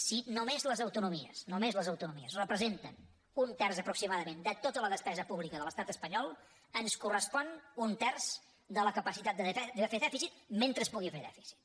si només les autonomies només les autonomies representen un terç aproximadament de tota la despesa pública de l’estat espanyol ens correspon un terç de la capacitat de fer dèficit mentre es pugui fer dèficit